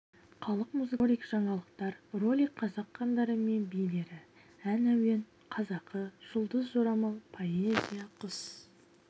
халық музыкасы ролик жаңалықтар ролик қазақ хандары мен билері ән әуен қазақы жұлдыз жорамал поэзия құс